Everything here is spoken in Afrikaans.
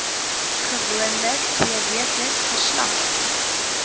gewoonlik tweeweekliks verslag